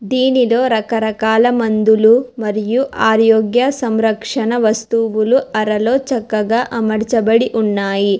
దీనిలో రకరకాల మందులు మరియు ఆరోగ్య సంరక్షణ వస్తువులు అరలో చక్కగా అమలుచబడి ఉన్నాయి.